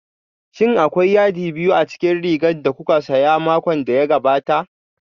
Shin akwai yadi biyu a cikin rigar da kuka saya a makon da ya gabata?